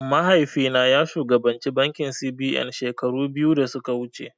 Mahaifi na ya shugabanci bankin C.B.N shekaru biyu da suka wuce